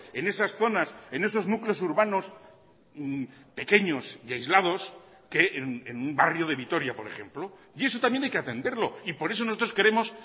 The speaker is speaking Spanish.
en esas zonas en esos núcleos urbanos pequeños y aislados que en un barrio de vitoria por ejemplo y eso también hay que atenderlo y por eso nosotros queremos